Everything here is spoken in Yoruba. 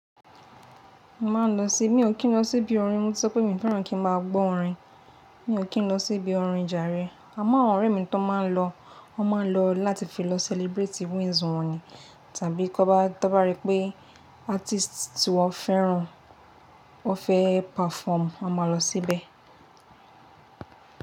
Màá lọ sí, mí ò kí ń lọ sí ibi orin, mo ti sọ pé mi o fẹ́ràn kí ń máa gbọ́ orin. Mí ò kí ń lọ sí ibi orin jàre, àmọ́ àwọn ọ̀rẹ́ mi tó máa ń lọ, wọ́n máa ń lọ láti fi lọ celebrate wins wọn ni, tàbí tọ́n bá, tọ bá rí pé artist tí wọ́n fẹ́ràn ó fẹ́ perform, won máa lọ síbẹ̀.